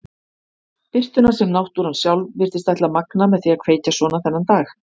Birtuna sem náttúran sjálf virtist ætla að magna með því að kveikja svona þennan dag.